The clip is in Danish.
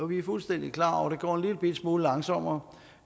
vi er fuldstændig klar over at det går en lillebitte smule langsommere